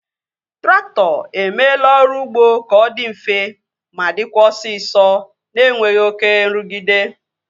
Traktọ emeela ọrụ ụgbọ ka ọ dị mfe ma dịkwa osisọ na-enweghị oké nrụgide